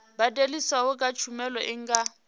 badeliswaho kha tshumelo i nga